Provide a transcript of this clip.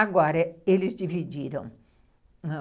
Agora, eles dividiram.